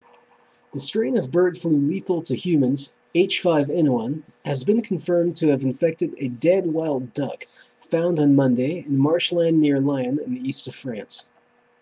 the strain of bird flu lethal to humans h5n1 has been confirmed to have infected a dead wild duck found on monday in marshland near lyon in the east of france